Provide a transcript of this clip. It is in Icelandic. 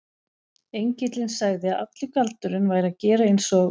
Engillinn sagði að allur galdurinn væri að gera eins og